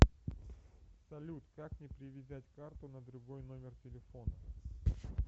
салют как мне привязать карту на другой номер телефона